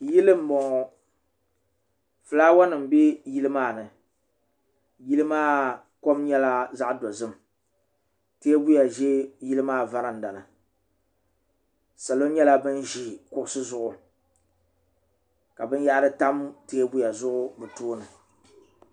yili n bɔŋɔ fulaawa nim bɛ yili maa ni yili maa kom nyɛla zaɣ dozim teebuya ʒi yili maa varanda ni salo nyɛla bin ʒi kuɣusi zuɣu ka binyahari tam teebuya zuɣu bi tooni